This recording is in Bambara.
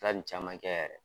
Taara ni caman kɛ yɛrɛ